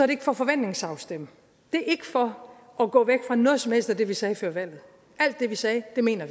det ikke for at forventningsafstemme det er ikke for at gå væk fra noget som helst af det vi sagde før valget alt det vi sagde mener